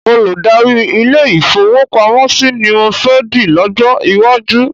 Olùdarí ilé-ìfowópamọ́sí ni mọ fẹ́ di lọ́jọ́ iwájú.